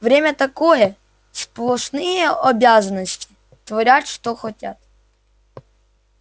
время-то такое сплошные обязанности творят что хотят